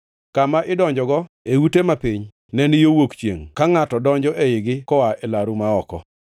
Kama idonjogo e ute mapiny ne ni yo wuok chiengʼ, ka ngʼato donjo eigi koa e laru ma oko.